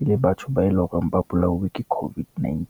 e le batho ba eleng hore ba bolauwe ke COVID-19.